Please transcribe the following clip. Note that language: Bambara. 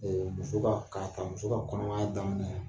Muso ka kaka muso ka kɔnɔmaya daminɛ.